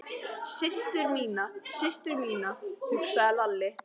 Systur mína, systur mína, hugsaði Lalli.